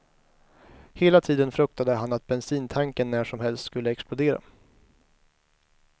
Hela tiden fruktade han att bensintanken när som helst skulle explodera.